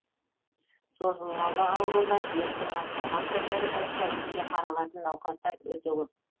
созылмалы аурулар дерттің асқынған түрлері бойынша бізге қаралатын науқастар өте көп